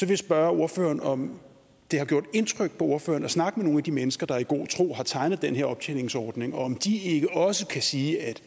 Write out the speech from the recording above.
jeg spørge ordføreren om det har gjort indtryk på ordføreren at snakke med nogle af de mennesker der i god tro har tegnet den her optjeningsordning og om de ikke også kan sige at